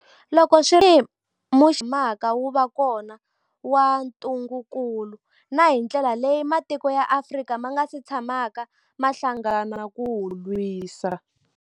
Loko swi ri tano, tanihi muxaka lowu wu nga si tshamaka wu va kona wa ntungukulu, na hi ndlela leyi matiko ya Afrika ma nga si tshamaka ma hlangana ku wu lwisa.